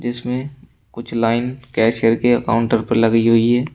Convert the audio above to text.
जिसमें कुछ line cashier के काउंटर पर लगी हुई है।